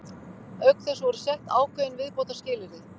Auk þess voru sett ákveðin viðbótarskilyrði.